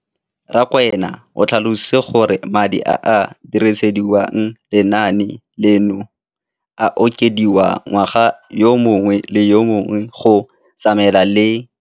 Rakwena o tlhalositse gore madi a a dirisediwang lenaane leno a okediwa ngwaga yo mongwe le yo mongwe go tsamaelana le